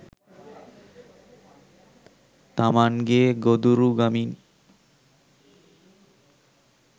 තමන්ගේ ගොදුරුගමින්